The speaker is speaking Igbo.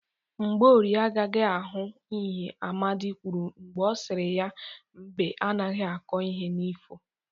Mgborie agaghi ahụt ihe Amadị kwuru mgbe ọ siri ya 'mbe anaghị akọ n'ifo '